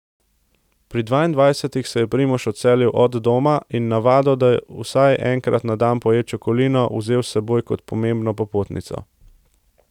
Pri dvaindvajsetih se je Primož odselil do doma in navado, da vsaj enkrat na dan poje čokolino, vzel s seboj kot pomembno popotnico.